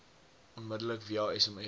onmiddellik via sms